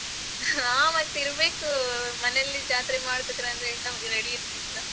ಹ ಮತ್ ಇರ್ಬೇಕು ಮನೇಲಿ ಜಾತ್ರೆ ಮಾಡ್ತಿದರೆ ಅಂದ್ರೆ ready ಇರ್ಬೇಕು.